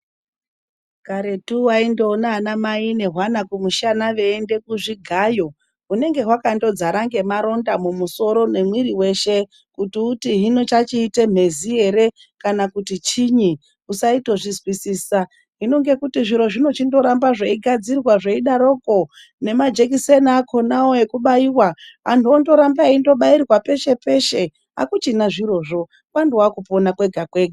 Karetu waindoona anamai nehwana kumushana veienda kuzvigayo. Hunenge hwakandodzara ngemaronda mumusoro nemwiri weshe, kuti hino chachiite mhezi ere kana kuti chinyi, usaitozvizwisisa. Hino ngekuti zviro zvinochindoramba zveigadzirwa zveidaroko, nemajekiseni akhonawo ekubaiwa, antu ondoramba eindobairwa peshe peshe. Akuchina zvirozvo, kwandowa kupona kwega kwega.